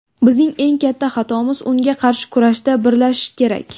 Bizning eng katta xatomiz, unga qarshi kurashda birlashish kerak.